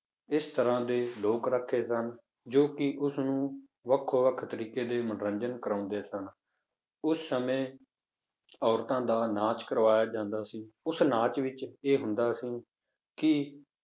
ਇਸ ਤਰ੍ਹਾਂ ਦੇ ਲੋਕ ਰੱਖੇ ਸਨ ਜੋ ਕਿ ਉਸਨੂੰ ਵੱਖੋ ਵੱਖ ਤਰੀਕੇ ਦੇ ਮਨੋਰੰਜਨ ਕਰਵਾਉਂਦੇ ਸਨ, ਉਸ ਸਮੇਂ ਔਰਤਾਂ ਦਾ ਨਾਚ ਕਰਵਾਇਆ ਜਾਂਦਾ ਸੀ, ਉਸ ਨਾਚ ਵਿੱਚ ਇਹ ਹੁੰਦਾ ਸੀ ਕਿ